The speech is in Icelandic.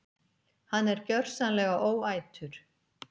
Hann er gjörsamlega óætur!